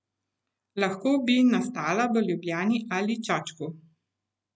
Lahko bi nastala v Ljubljani ali Čačku.